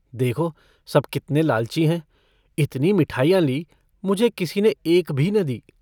देखो सब कितने लालची हैं इतनी मिठाइयाँ लीं मुझे किसी ने एक भी न दी।